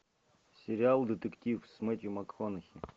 сериал детектив с мэттью макконахи